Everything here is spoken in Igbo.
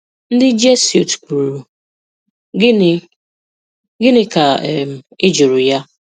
Ndị Jesuit kwuru, "Gịnị "Gịnị ka um ị jụrụ ya?